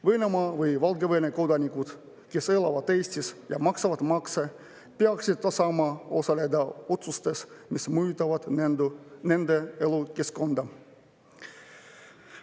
Venemaa või Valgevene kodanikud, kes elavad Eestis ja maksavad makse, peaksid saama osaleda otsustes, mis mõjutavad nende elukeskkonda.